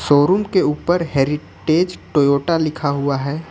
Showroom के ऊपर heritage Toyota लिखा हुआ है।